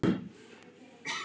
Passar vel með öllu kjöti.